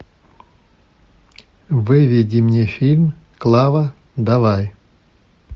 выведи мне фильм клава давай